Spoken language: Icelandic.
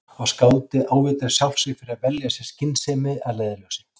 Og skáldið ávítar sjálft sig fyrir að velja sér skynsemi að leiðarljósi.